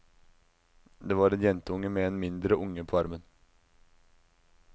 Det var en jentunge med en mindre unge på armen.